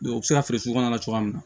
u bɛ se ka feere sugu kɔnɔna na